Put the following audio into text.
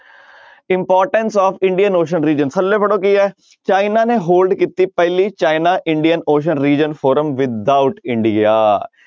Importance of Indian ocean region ਥੱਲੇ ਪੜ੍ਹੋ ਕੀ ਹੈ ਚਾਈਨਾ ਨੇ hold ਕੀਤੀ ਪਹਿਲੀ China Indian ocean region forum without India